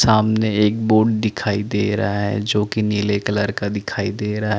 सामने एक बोर्ड दिखाई दे रहा है जो की नीले कलर का दिखाई दे रहा है ।